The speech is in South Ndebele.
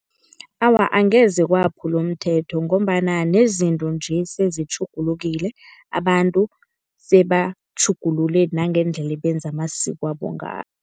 Awa angeze kwaphula umthetho ngombana nezinto nje sezitjhugulukile, abantu sebatjhugulule nangendlela ebenza amasikwabo ngayo.